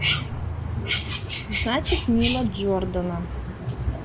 значит нила джордана